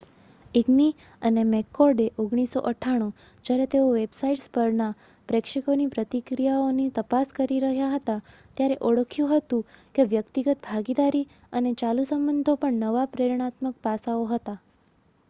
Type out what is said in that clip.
"ઇગ્મી અને મેકકોર્ડએ 1998 જ્યારે તેઓ વેબસાઇટ્સ પરના પ્રેક્ષકોની પ્રતિક્રિયાઓની તપાસ કરી રહ્યા હતા ત્યારે ઓળખ્યું હતું કે "વ્યક્તિગત ભાગીદારી" અને "ચાલુ સંબંધો" પણ નવા પ્રેરણાત્મક પાસાઓ હતા.